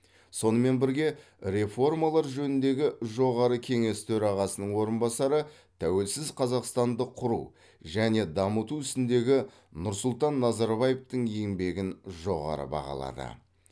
сонымен бірге реформалар жөніндегі жоғары кеңес төрағасының орынбасары тәуелсіз қазақстанды құру және дамыту ісіндегі нұрсұлтан назарбаевтың еңбегін жоғары бағалады